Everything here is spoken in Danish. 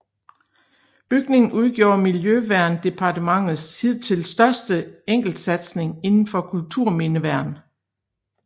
Bygningen udgjorde Miljøverndepartementets hidtil største enkeltsatsing inden for kulturmindeværn